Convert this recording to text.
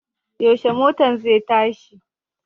Yaushe motan zai tashi?